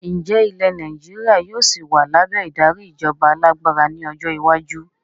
Ǹjẹ́ ilẹ̀ Nàìjíríà yìí ó sì wá lábẹ́ ìdarí ìjọba alágbára ni ọjọ́ iwájú?